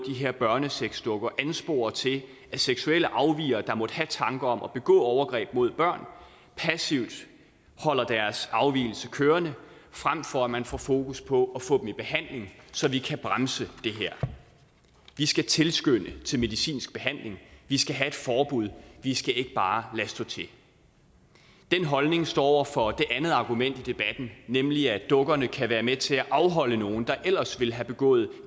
de her børnesexdukker ansporer til at seksuelle afvigere der måtte have tanker om at begå overgreb mod børn passivt holder deres afvigelse kørende frem for at man får fokus på at få dem i behandling så vi kan bremse det her vi skal tilskynde til medicinsk behandling vi skal have et forbud vi skal ikke bare lade stå til den holdning står over for det andet argument i debatten nemlig at dukkerne kan være med til at afholde nogle der ellers ville have begået